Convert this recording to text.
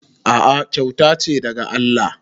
A'a kyauta ce daga Allah